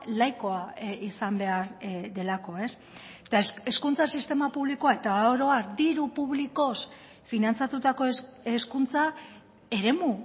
laikoa izan behar delako eta hezkuntza sistema publikoa eta oro har diru publikoz finantzatutako hezkuntza eremu